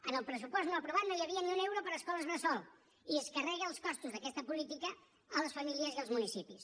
en el pressupost no aprovat no hi havia ni un euro per a escoles bressol i es carrega els costos d’aquesta política a les famílies i als municipis